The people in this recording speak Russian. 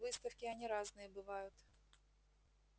выставки они разные бывают